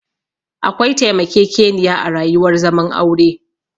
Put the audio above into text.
Akwai taimakekeniya a rayuwar zaman aure